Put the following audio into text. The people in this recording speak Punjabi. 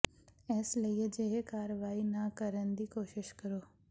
ਇਸ ਲਈ ਅਜਿਹੇ ਕਾਰਵਾਈ ਨਾ ਕਰਨ ਦੀ ਕੋਸ਼ਿਸ਼ ਕਰੋ